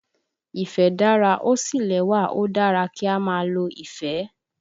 Ìfẹ́ dára, ó sì lẹ́wà, ó dára kí á máa lo ìfẹ́